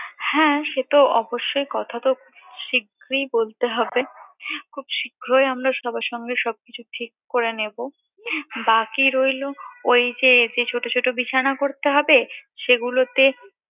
হ্যাঁ সে তো অবশ্যই কথা তো শীঘ্রই বলতে হবে খুব শীঘ্রই আমরা সবার সাথে সবকিছু ঠিক করে নেবো বাকি রইলো ঐ যে ছোট ছোট বিছানা করতে হবে সেগুলোতে